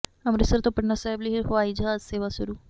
ਅੰਮ੍ਰਿਤਸਰ ਤੋਂ ਪਟਨਾ ਸਾਹਿਬ ਲਈ ਹਵਾਈ ਜਹਾਜ਼ ਸੇਵਾ ਸ਼ੁਰੂ